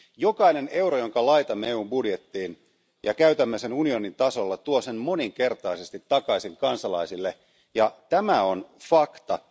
Jokainen euro, jonka laitamme EUn budjettiin ja käytämme unionin tasolla, tulee moninkertaisesti takaisin kansalaisille, ja tämä on fakta.